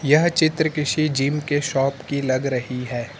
यह चित्र किसी जिम के शॉप की लग रही है।